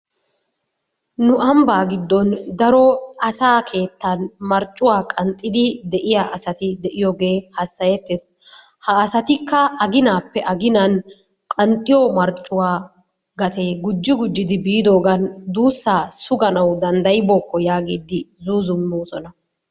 Nu ambbaa giddon daro asaa keettan marccuwa qanxxidi de'iya asati de'iyogee hassayettees. Ha asatikka aginaappe aginaan qanxxiyo marccuwa gatee gujji gujjidi biidoogan duussaa suganawu danddayibookko yaagiyddi zuuzummoosona.